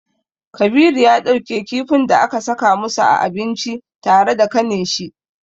Kabiru ya ɗauke kifin da aka saka musu a abinci tare da kaninshi.